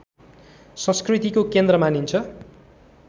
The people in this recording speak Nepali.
संस्कृतिको केन्द्र मानिन्छ